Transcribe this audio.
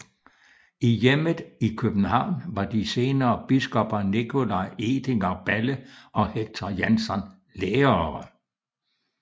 I hjemmet i København var de senere biskopper Nicolai Edinger Balle og Hector Janson lærere